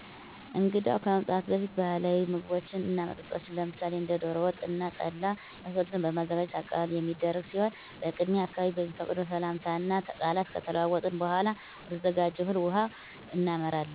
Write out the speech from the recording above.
እንግዳው ከመምጣቱ በፊት ባህላዊ ምግቦችን እና መጠጦችን ለምሳሌ እንደ ደሮ ወጥ እና ጠላ የመሳሰሉትን በማዘጋጅ አቀባበል የሚደረግ ሲሆን በቅድሚያ አካባቢዉ በሚፈቅደው ሰላምታ እና ቃላት ከተለዋወጥን በኃላ ወደተዘጋጀው እህል ውሃ እናመራለን።